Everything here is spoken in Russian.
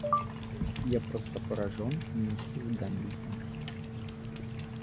я просто поражён миссис гамильтон